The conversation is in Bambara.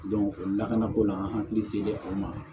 o lakanako n'an hakili se di o ma